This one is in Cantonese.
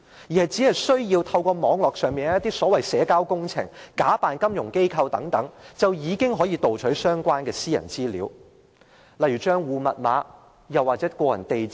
罪犯只需要透過一些社交網絡，假扮金融機構，便已可盜取到相關私人資料，例如帳戶號碼或個人地址等。